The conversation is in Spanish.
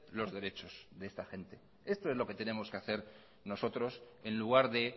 los derechos de esta gente esto es lo que tenemos que hacer nosotros en lugar de